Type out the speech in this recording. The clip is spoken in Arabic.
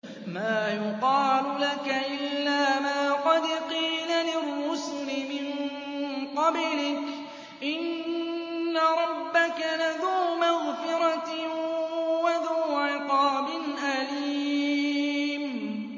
مَّا يُقَالُ لَكَ إِلَّا مَا قَدْ قِيلَ لِلرُّسُلِ مِن قَبْلِكَ ۚ إِنَّ رَبَّكَ لَذُو مَغْفِرَةٍ وَذُو عِقَابٍ أَلِيمٍ